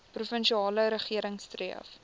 provinsiale regering streef